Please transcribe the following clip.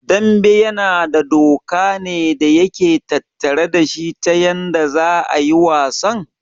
Dambe yana da doka ne da yake tattare dashi ta yanda za'a yi wasan?